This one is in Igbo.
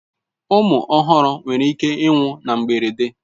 Ụmụ ọhụrụ nwere ike ịnwụ na mberede.